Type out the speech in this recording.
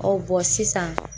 sisan.